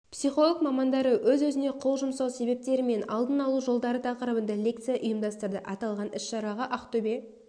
психолог-мамандары өз-өзіне қол жұмсау себептері мен алдын алу жолдары тақырыбында лекция ұйымдастырды аталған іс-шараға ақтөбе